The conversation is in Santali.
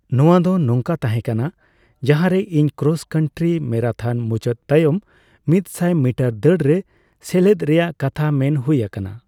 ᱱᱚᱣᱟ ᱫᱚ ᱱᱚᱝᱠᱟ ᱛᱟᱸᱦᱮ ᱠᱟᱱᱟ ᱡᱟᱸᱦᱟᱨᱮ ᱤᱧ ᱠᱨᱚᱥᱼᱠᱟᱱᱴᱨᱤ ᱢᱮᱨᱟᱛᱷᱚᱱ ᱢᱩᱪᱟᱹᱫ ᱛᱟᱭᱚᱢ ᱢᱤᱛᱥᱟᱭ ᱢᱤᱴᱟᱨ ᱫᱟᱹᱲᱨᱮ ᱥᱮᱞᱮᱫ ᱨᱮᱭᱟᱜ ᱠᱟᱛᱷᱟ ᱢᱮᱱ ᱦᱩᱭ ᱟᱠᱟᱱᱟ ᱾